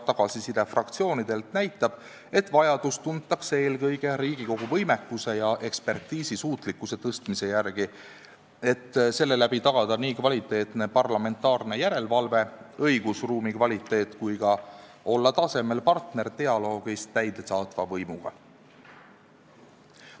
Tagasiside fraktsioonidelt näitab, et vajadust tuntakse eelkõige Riigikogu võimekuse ja ekspertiisi suutlikkuse tõstmise järele, et tagada kvaliteetne parlamentaarne järelevalve ja õigusruumi kvaliteet ning olla ka tasemel partner dialoogis täidesaatva võimuga.